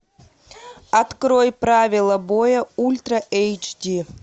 открой правила боя ультра эйч ди